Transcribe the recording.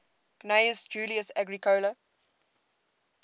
gnaeus julius agricola